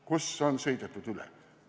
Kus on sõidetud üle?